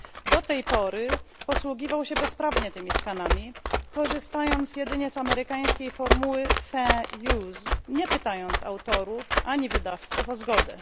Do tej pory posługiwał się bezprawnie tymi skanami, korzystając jedynie z amerykańskiej formuły fair use nie pytając autorów ani wydawców o zgodę.